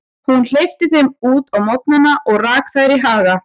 Hún hleypti þeim út á morgnana og rak þær í haga.